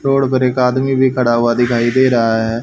Road पर एक आदमी भी खड़ा हुआ दिखाई दे रहा है।